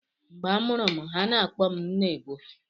Mgbe a mụrụ m, ha na-akpọ m "Nnaebuo"